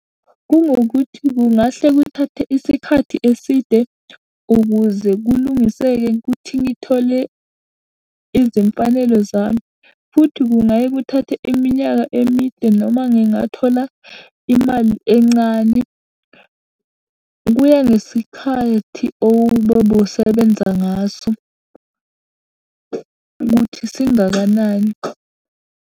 Kungukuthi kungahle kuthathe isikhathi eside ukuze kulungiseke kuthi ngithole izimfanelo zami, futhi kungaye kuthathe iminyaka emide noma ngingathola imali encane. Kuya ngesikhathi obusebenza ngaso, ukuthi singakanani.